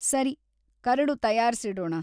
ಸರಿ, ಕರಡು ತಯಾರ್ಸಿಡೋಣ.